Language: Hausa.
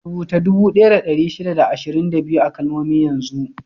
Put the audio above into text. Rubuta dubu ɗaya da ɗari shida da ashirin da biyu a kalmomi yanzu!